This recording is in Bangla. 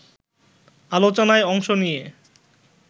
আলোচনায় অংশ নিয়ে